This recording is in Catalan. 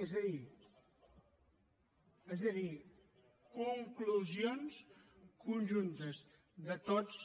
és a dir conclusions conjuntes de tots